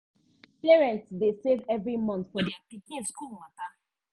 parents dey save every month for their pikin school matter.